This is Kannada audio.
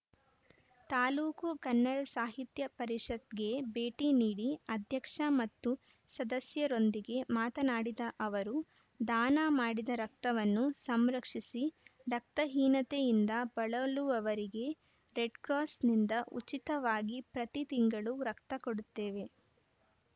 ತಾಲೂಕು ಕನ್ನಡ ಸಾಹಿತ್ಯ ಪರಿಷತ್‌ಗೆ ಭೇಟಿ ನೀಡಿ ಅಧ್ಯಕ್ಷ ಮತ್ತು ಸದಸ್ಯರೊಂದಿಗೆ ಮಾತನಾಡಿದ ಅವರು ದಾನ ಮಾಡಿದ ರಕ್ತವನ್ನು ಸಂರಕ್ಷಿಸಿ ರಕ್ತಹೀನತೆಯಿಂದ ಬಳಲುವವರಿಗೆ ರೆಡ್‌ಕ್ರಾಸ್‌ನಿಂದ ಉಚಿತವಾಗಿ ಪ್ರತಿ ತಿಂಗಳು ರಕ್ತ ಕೊಡುತ್ತೇವೆ